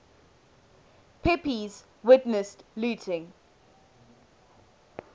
pepys witnessed looting